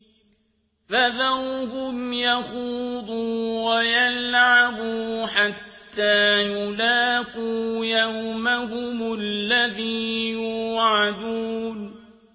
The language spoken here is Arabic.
فَذَرْهُمْ يَخُوضُوا وَيَلْعَبُوا حَتَّىٰ يُلَاقُوا يَوْمَهُمُ الَّذِي يُوعَدُونَ